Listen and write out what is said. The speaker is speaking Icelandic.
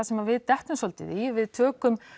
sem við dettum svolítið í við tökum